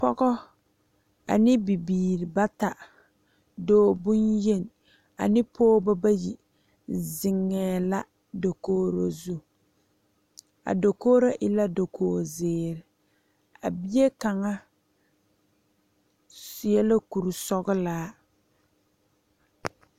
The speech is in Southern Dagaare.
Pɔge ane bibiiri bata, dɔɔ bonyeni ane pɔgeba bayi zeŋee la dakogro zu a dakogro e la dakogi ziiri a bie kaŋa seɛ la kuri sɔglaa.